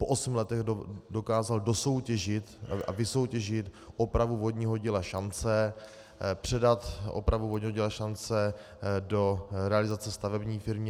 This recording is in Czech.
Po osmi letech dokázal dosoutěžit a vysoutěžit opravu vodního díla Šance, předat opravu vodního díla Šance do realizace stavební firmě.